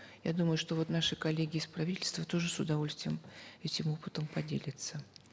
я думаю что вот наши коллеги из правительства тоже с удовольствием этим опытом поделятся